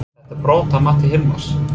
Var þetta brot að mati Hilmars?